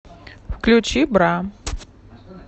включи бра